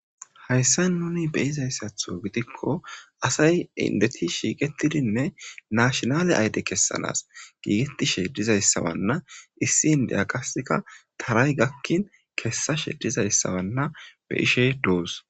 hayssa nuni be izayssatho gidikko asay indeti shiiqetidinne naashinale ayde kessanas giigeti shedizayssawanna issi indeya qaseka taray gakkin kessa shedizayssawanna be ishey duus